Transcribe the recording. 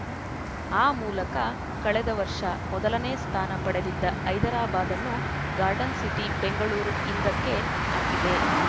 ಆ ಮೂಲಕ ಕಳೆದ ವರ್ಷ ಮೊದಲನೇ ಸ್ಥಾನ ಪಡೆದಿದ್ದ ಹೈದರಾಬಾದನ್ನು ಗಾರ್ಡನ್‌ ಸಿಟಿ ಬೆಂಗಳೂರು ಹಿಂದಕ್ಕೆ ಹಾಕಿದೆ